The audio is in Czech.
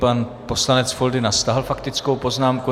Pan poslanec Foldyna stáhl faktickou poznámku.